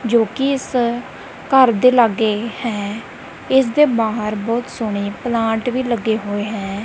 ਜੋ ਕਿ ਇਸ ਘਰ ਦੇ ਲਾਗੇ ਹੈ ਇਸਦੇ ਬਾਹਰ ਬਹੁਤ ਸੋਹਣੇ ਪਲਾਂਟ ਵੀ ਲੱਗੇ ਹੋਏ ਹੈਂ।